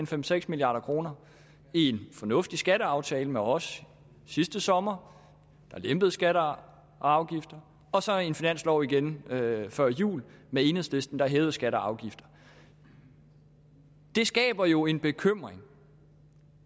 fem seks milliard kroner en fornuftig skatteaftale med os sidste sommer der lempede skatter og afgifter og så en finanslov igen før jul med enhedslisten der hævede skatter og afgifter det skaber jo en bekymring